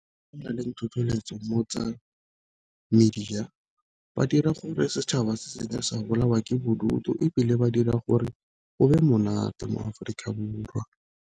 Go na le tlhotlheletso mo tsa media ba dira gore setšhaba se seke sa bolawa ke bodutu, ebile ba dira gore go be monate mo Aforika Borwa.